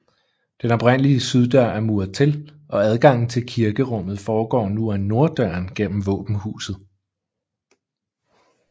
Den oprindelige syddør er muret til og adgangen til kirkerummet foregår nu ad norddøren gennem våbenhuset